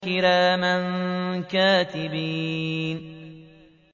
كِرَامًا كَاتِبِينَ